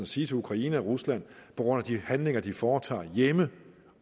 sige til ukraine og rusland på grund af de handlinger de foretager hjemme